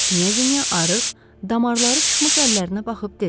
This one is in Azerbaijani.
Qniya arıq, damarları çıxmış əllərinə baxıb dedi.